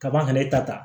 Kaban ka e ta